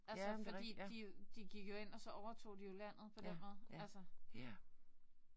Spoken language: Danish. Altså fordi de de gik jo ind og så overtog de jo landet på den måde altså